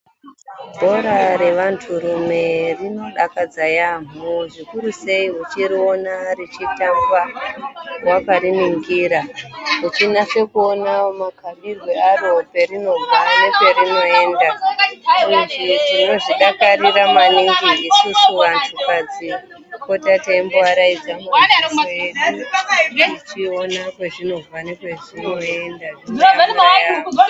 Bhora revanturume rinodakadza yaamho zvikuru sei uchiriona richitambwa wakariningira uchinyase kuona makabirwe aro perinobva neperinoenda, uye tinozvidakarira maningi vantukadzi kupota teimbovaraidza maziso edu tichiona kwezvinobva nekwezvinoenda tichidakara yaambo.